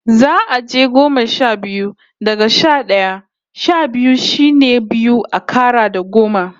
Za'a je goma sha biyu, daga sha d'aya. Sha biyu shine biyu a kara da goma.